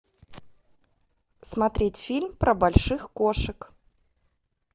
смотреть фильм про больших кошек